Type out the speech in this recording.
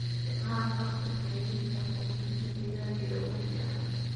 Isticmaal qalabka kaydinta quudinta digaaga ee ugu fiican.